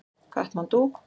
Katmandú